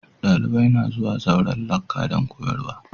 Dalibai na zuwa zauren lacca dan koyarswa.